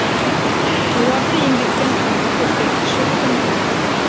оларды еңбекпен қамту көрсеткіші тым төмен